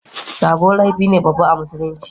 sabo laifi ne babba a musulunci